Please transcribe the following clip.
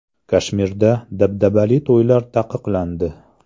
Kashmirda dabdabali to‘ylar taqiqlandi.